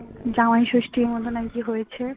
জামাইষষ্ঠীর মতন নাকি হয়েছে